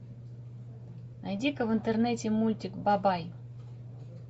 найди ка в интернете мультик бабай